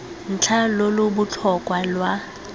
ntlha lo lo botlhokwa lwa